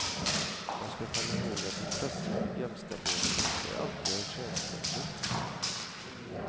Man ska komma ihåg att intresset för jämställdhet inte alltid är könsbundet.